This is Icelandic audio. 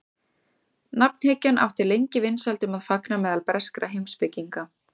nafnhyggjan átti lengi vinsældum að fagna meðal breskra heimspekinga